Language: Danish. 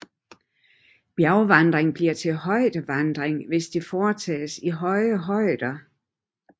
Bjergvandring bliver til højdevandring hvis det foretages i høje højder